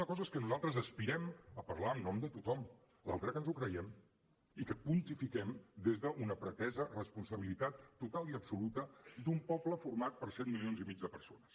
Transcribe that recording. una cosa és que nosaltres aspirem a parlar en nom de tothom l’altra que ens ho creiem i que pontifiquem des d’una pretesa responsabilitat total i absoluta d’un poble format per set milions i mig de persones